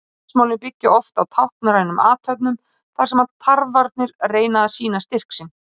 Slagsmálin byggja oft á táknrænum athöfnum þar sem tarfarnir reyna að sýna styrk sinn.